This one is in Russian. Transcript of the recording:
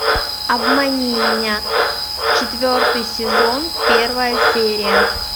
обмани меня четвертый сезон первая серия